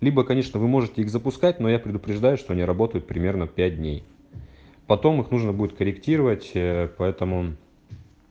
либо конечно вы можете их запускать но я предупреждаю что они работают примерно пять дней потом их нужно будет корректировать поэтому